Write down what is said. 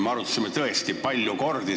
Me arutasime seda tõesti palju kordi.